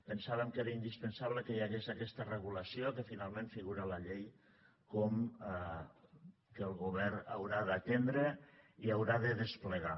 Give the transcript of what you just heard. pensàvem que era indispensable que hi hagués aquesta regulació que finalment figura a la llei com que el govern haurà d’atendre i haurà de desplegar